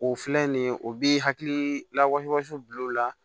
O filɛ nin ye o bi hakili lawasi bil'o la